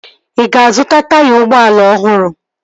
Ị ga-azụta taya ụgbọala ọhụrụ?